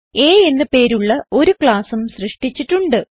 A എന്ന് പേരുള്ള ഒരു ക്ലാസും സൃഷ്ടിച്ചിട്ടുണ്ട്